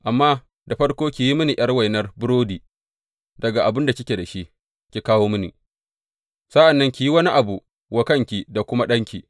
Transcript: Amma da farko ki yi mini ’yar wainar burodi daga abin da kike da shi ki kawo mini, sa’an nan ki yi wani abu wa kanki da kuma ɗanki.